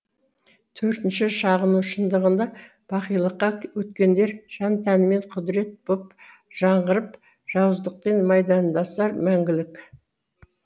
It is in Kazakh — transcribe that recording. төртінші шағыну шындығында бақилыққа өткендер жан тәнімен құдірет боп жаңғырып жауыздықпен майдандасар мәңгілік